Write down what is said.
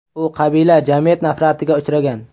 U qabila jamiyat nafratiga uchragan.